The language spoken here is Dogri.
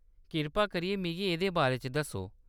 कृपा करियै मिगी एह्‌‌‌दे बारे च दस्सो।